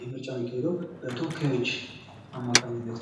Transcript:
ይህ ምርጫ ማካሄድ በተወካዮች አማካኝነት ነው።